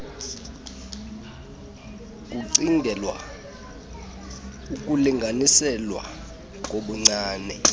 kucingelwa ukulinganiselwa kobuncwane